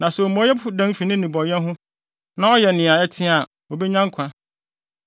Na sɛ omumɔyɛfo dan fi ne nnebɔne ho na ɔyɛ nea eye na ɛteɛ a, obenya nkwa.